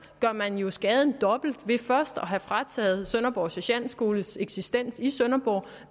gør man jo skaden dobbelt ved først have frataget sønderborg sergentskole dens eksistens i sønderborg